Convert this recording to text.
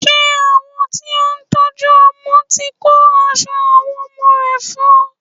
Ṣé àwọn tí ó ń tọ́jú ọmọ ti kó aṣọ àwọn ọmọ rẹ fún ọ?